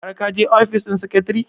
har ka je ofis ɗin secretary?